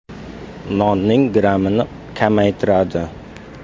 Nonning grammini kamaytiradi.